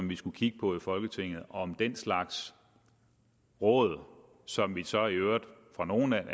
vi skulle kigge på i folketinget om den slags råd som vi så i øvrigt for nogle